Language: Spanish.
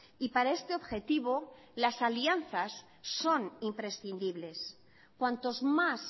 y para este objetivo las alianzas son imprescindibles cuantos más